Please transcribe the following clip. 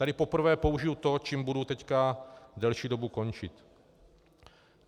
Tady poprvé použiji to, čím budu teď delší dobu končit.